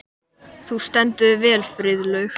Þú stendur þig vel, Friðlaug!